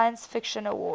science fiction awards